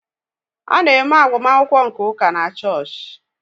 A na-eme agbamakwụkwọ nke ụka na chọọchị.